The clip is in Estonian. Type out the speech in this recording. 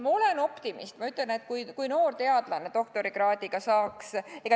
Ma olen optimist ja ütlen, et kui noor teadlane, doktorikraadiga, saaks ...